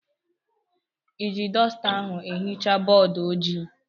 Ị ji dọsta ahụ ehicha bọọdụ ojii?